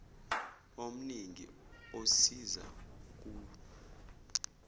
omningi osiza ukulw